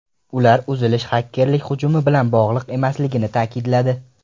Ular uzilish xakerlik hujumi bilan bog‘liq emasligini ta’kidladi.